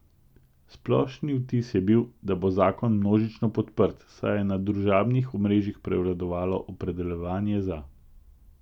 Splošni vtis je bil, da bo zakon množično podprt, saj je na družabnih omrežjih prevladovalo opredeljevanje za.